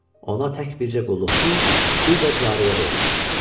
Ona tək bircə qulluqçu, bir də cariyə veriləcək.